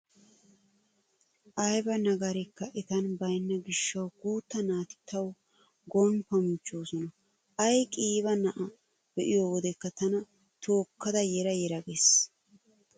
Ayba nagarikka etan baynna gishshawu guutta naati tawu gomppan michchoosona. Ay qiiba na'"aa be'iyo wodekka tana tookkada yera yera gees.